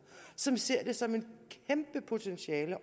som ser det som et kæmpe potentiale